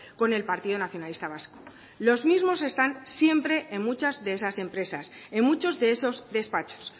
con el partido nacionalista vasco los mismos están siempre en muchas de esas empresas en muchos de esos despachos